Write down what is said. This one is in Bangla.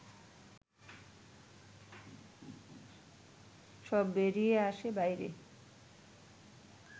সব বেরিয়ে আসে বাইরে